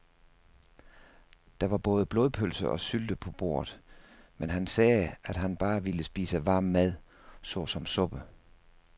Der var både blodpølse og sylte på bordet, men han sagde, at han bare ville spise varm mad såsom suppe.